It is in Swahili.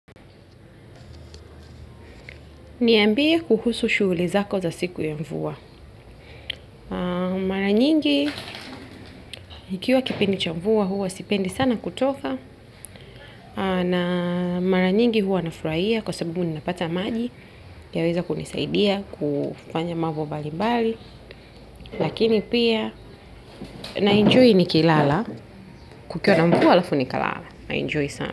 Niambie kuhusu shughuli zako za siku ya mvua. Mara nyingi, ikiwa kipindi cha mvua huwa sipendi sana kutoka. Na mara nyingi huwa nafurahia kwa sababu ninapata maji. Yaweza kunisaidia kufanya mambo mbali mbali. Lakini pia, naenjoy nikilala. Kukiwa na mvua alafu nikalala. Naenjoy sana.